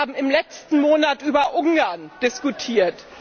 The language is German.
Wir haben im letzten Monat über Ungarn diskutiert.